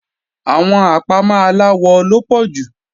Àwọn àpámọ́ aláwọ ló pọ̀ jù